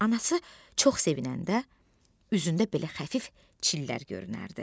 Anası çox sevinəndə üzündə belə xəfif çillər görünərdi.